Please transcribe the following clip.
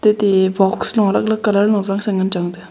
atey box lung alag alag colour lung ngan chong tega.